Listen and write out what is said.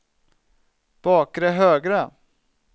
bakre högra